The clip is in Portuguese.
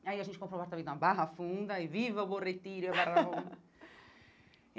Aí a gente comprou um apartamento na Barra Funda e viva o Borretirio!